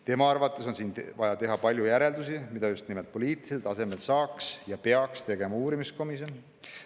Tema arvates on vaja teha palju järeldusi, mida just nimelt poliitilisel tasemel saaks ja peaks tegema uurimiskomisjon.